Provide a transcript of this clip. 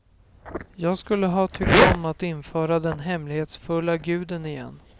Jag skulle ha tyckt om att införa den hemlighetsfulla guden igen.